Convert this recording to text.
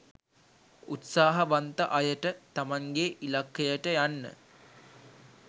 උත්සාහවන්ත අයට තමන්ගේ ඉලක්කයට යන්න